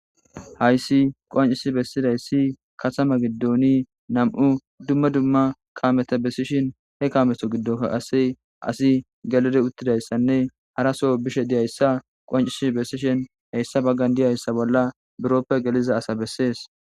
Hayssi qonccisi bessizayssi katama giddon nam7u dumma dumma kaameta bessishin he kaameta giddon qaase asi gelidi ottidayssanne haraso bishe diyayssa qonccisi bessishin hessa baggan de7izayssa bolla buroppe geliza asa bessesi.